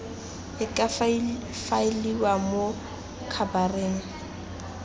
e ka faeliwang mo khabareng